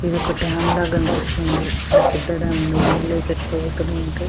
ఏదో ఒక డ్యామ్ లా కనిపిస్తుంది చాలా పెద్ద డ్యామ్ ఉన్నది. నీళ్ళు అయ్తే ఎట్లా పోతున్నాయి అంటే--